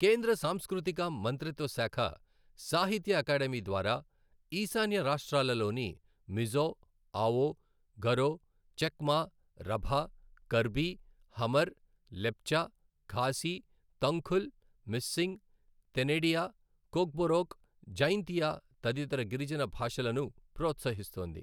కేంద్ర సాంస్కృతిక మంత్రిత్వశాఖ సాహిత్య అకాడమీ ద్వారా, ఈశాన్య రాష్ట్రాలలోని మిజో, ఆఓ, గరో, చక్మా, రభ, కర్బి, హమర్, లెప్చ, ఖాసి, తంగ్ఖుల్, మిస్సింగ్, తెనిడియ, కొక్బొరొక్, జైంతియా తదితర గిరిజన భాషలను ప్రోత్సహిస్తోంది.